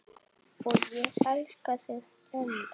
Og ég elska þig enn.